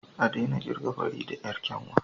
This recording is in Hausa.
A daina kirga Farida yar kyanwa